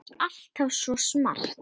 Þú ert alltaf svo smart.